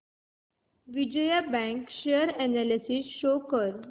Vijaya bank share analysis show कर